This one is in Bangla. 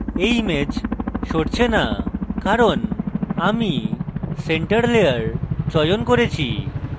এই image সরছে the কারণ আমি center layer চয়ন করেছি